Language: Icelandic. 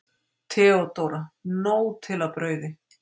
THEODÓRA: Nóg til af brauði!